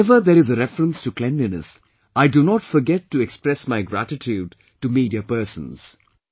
Whenever there is a reference to cleanliness, I do not forget to express my gratitude to media persons